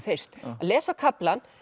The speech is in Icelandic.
fyrst að lesa kaflann